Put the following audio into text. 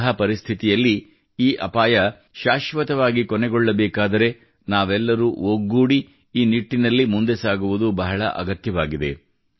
ಇಂತಹ ಪರಿಸ್ಥಿತಿಯಲ್ಲಿ ಈ ಅಪಾಯ ಶಾಶ್ವತವಾಗಿ ಕೊನೆಗೊಳ್ಳಬೇಕಾದರೆ ನಾವೆಲ್ಲರೂ ಒಗ್ಗೂಡಿ ಈ ನಿಟ್ಟಿನಲ್ಲಿ ಮುಂದೆ ಸಾಗುವುದು ಬಹಳ ಅಗತ್ಯವಾಗಿದೆ